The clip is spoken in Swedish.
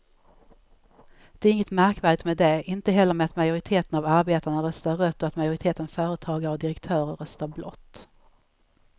Det är inget märkvärdigt med det, inte heller med att majoriteten av arbetarna röstar rött och att majoriteten företagare och direktörer röstar blått.